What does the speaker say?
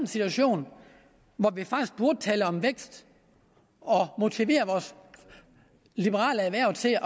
situation hvor vi faktisk burde tale om vækst og motivere vores liberale erhverv til